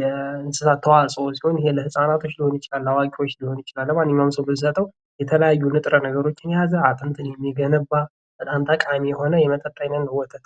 የእንስሳት ተዋጽዖ ሲሆን ለህፃናቶች ሊሆን ይችላል። ለአዋቂዎች ሊሆን ይችላል። ለማንኛውም ሰው ብንሰጠው የተለያዩ ንጥረ ነገሮችን የያዘ አጥንትን የሚገነባ በጣም ጠቃሚ የሆነ የመጠጥ አይነት ነው ወተት።